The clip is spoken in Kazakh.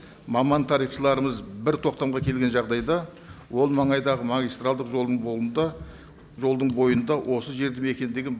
маман тарихшыларымыз бір тоқтамға келген жағдайда ол маңайдағы магистралдық жолдың жолдың бойында осы жерді мекендеген